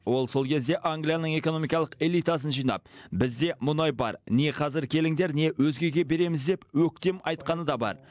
ол сол кезде англияның экономикалық элитасын жинап бізде мұнай бар не қазір келіңдер не өзгеге береміз деп өктем айтқаны да бар